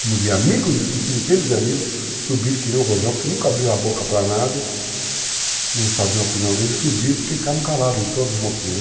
Como vi amigos, centenas de amigos, subirem que nem o Rojão, porque nunca abriram a boca para nada, não sabiam a opinião dele, subiram porque ficaram calados em todos os motivos.